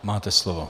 Máte slovo.